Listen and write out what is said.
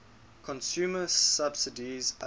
consumer subsidies led